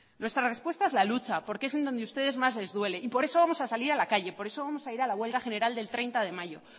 nuestra respuesta es la lucha porque es en donde ustedes más les duele y por eso vamos a salir a la calle por eso vamos a ir a la huelga general del treinta de mayo